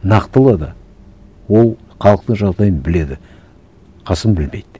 нақтылы да ол халықтың жағдайын біледі қасым білмейді